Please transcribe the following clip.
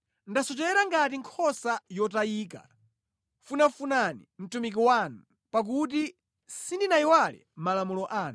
Ndasochera ngati nkhosa yotayika, funafunani mtumiki wanu, pakuti sindinayiwale malamulo anu.